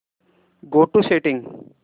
go to settings